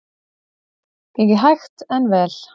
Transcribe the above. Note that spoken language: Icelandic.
Gengið hægt en vel